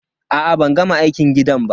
A'a ban gama aikin gidan ba.